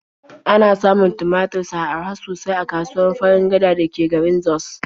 Ana samun tumatur sa araha sosai a kasuwar Farin Gada da ke garin Jos.